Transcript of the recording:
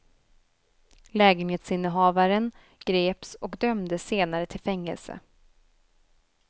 Lägenhetsinnehavaren greps och dömdes senare till fängelse.